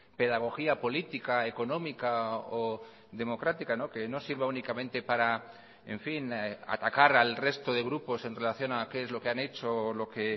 pedagogía política económica o democrática que no sirva únicamente para en fin atacar al resto de grupos en relación a qué es lo que han hecho o lo que